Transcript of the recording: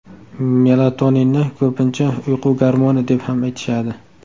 Melatoninni ko‘pincha uyqu gormoni deb ham aytishadi.